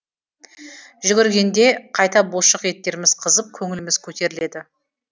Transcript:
жүгіргенде қайта бұлшық еттеріміз қызып көңіліміз көтеріледі